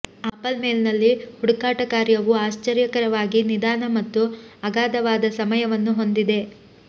apple ಮೇಲ್ನಲ್ಲಿ ಹುಡುಕಾಟ ಕಾರ್ಯವು ಆಶ್ಚರ್ಯಕರವಾಗಿ ನಿಧಾನ ಮತ್ತು ಅಗಾಧವಾದ ಸಮಯವನ್ನು ಹೊಂದಿದೆ